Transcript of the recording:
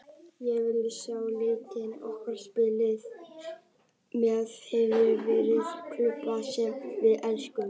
Við viljum sjá leikmenn okkar spila með hjartanu- fyrir klúbbinn sem við elskum.